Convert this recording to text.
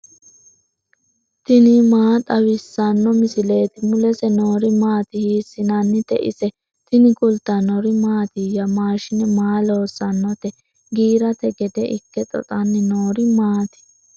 tini maa xawissanno misileeti ? mulese noori maati ? hiissinannite ise ? tini kultannori mattiya? Mashiine maa loosannotte? giirate gede ikke xoxanni noori maatti?